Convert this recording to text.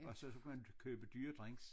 Og så kan man købe dyre drinks